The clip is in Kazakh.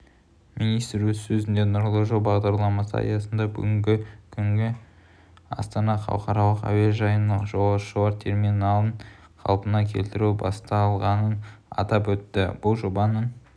министр өз сөзінде нұрлы жол бағдарламасы аясында бүгінгі күні астана халықаралық әуежайының жолаушылар терминалын қалпына келтіру басталғанын атап өтті бұл жобаның